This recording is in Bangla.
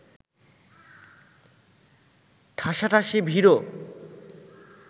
ঠাঁসাঠাঁসি ভিড়ও